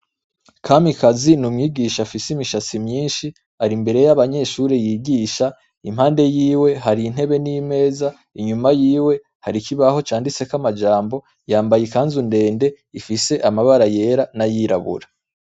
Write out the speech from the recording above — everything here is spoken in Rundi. Kamikazi n'umwigisha afise imishatsi myishi ari imbere y'abanyeshure yigisha, impande yiwe hari intebe n' imeza inyuma yiwe hari ikibaho canditseko amajambo , yambaye ikanzu ndende ifise amabara yera n'ayirabura.